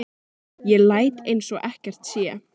Ég læt eins og ekkert sé.